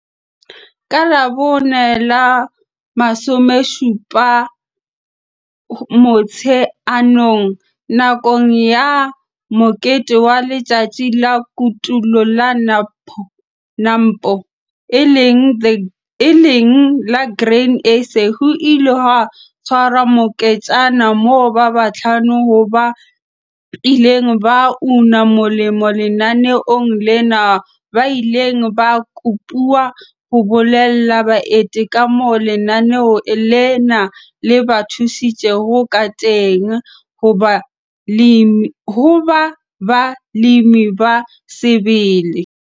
Ka Labone la 17 Motsheanong, nakong ya mokete wa Letsatsi la Kotulo la NAMPO e leng la Grain SA, ho ile ha tshwarwa moketjana moo ba bahlano ho ba ileng ba una molemo lenaneong lena ba ileng ba kopuwa ho bolella baeti ka moo lenaneo lena le ba thusitseng ka teng ho ba balemi ba sebele.